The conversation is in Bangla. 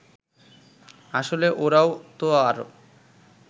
আসলে ওরাও তো আর